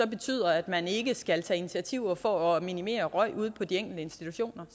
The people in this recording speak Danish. betyder at man ikke skal tage initiativer for at minimere røg ude på de enkelte institutioner